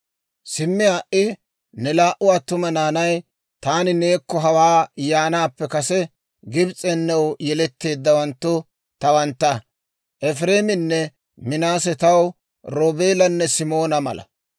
«Simmi ha"i, ne laa"u attuma naanay, taani neekko hawaa yaanaappe kase Gibs'en new yeletteeddawanttu tawantta; Efireeminne Minaase taw Roobeelanne Simoona mala.